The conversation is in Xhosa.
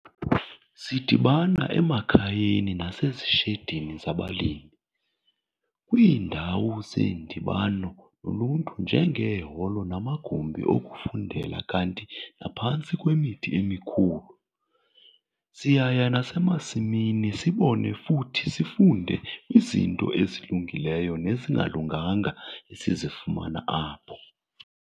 Sidibana emakhayeni nasezishedini zabalimi, kwiindawo zeendibano zoluntu njengeeholo namagumbi okufundela kanti naphantsi kwemithi emikhulu siyaya nasemasimini sibone futhi sifunde kwizinto ezilungileyo nezingalunganga esizifumana apho.